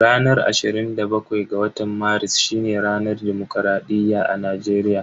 Ranar ashirin da bakwai ga watan Maris shine ranar dimokuraɗiyya a Najeriya.